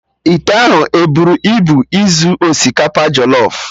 Ite ahụ eburu ibu izu osikapa jọlọf?